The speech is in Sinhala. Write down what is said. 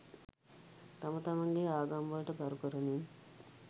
තම තමන්ගේ ආගම් වලට ගරු කරමින්